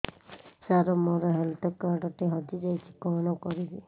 ସାର ମୋର health card ଟି ହଜି ଯାଇଛି କଣ କରିବି